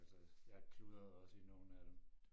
Altså jeg kludrede også i nogen af dem